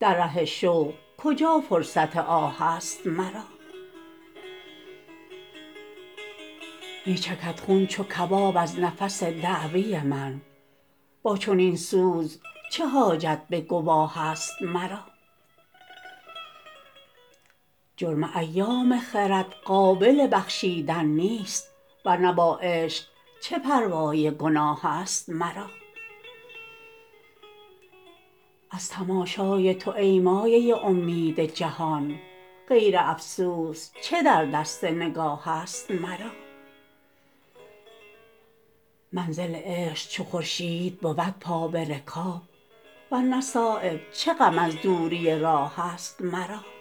در ره شوق کجا فرصت آه است مرا می چکد خون چو کباب از نفس دعوی من با چنین سوز چه حاجت به گواه است مرا جرم ایام خرد قابل بخشیدن نیست ورنه با عشق چه پروای گناه است مرا از تماشای تو ای مایه امید جهان غیر افسوس چه در دست نگاه است مرا منزل عشق چو خورشید بود پا به رکاب ورنه صایب چه غم از دوری راه است مرا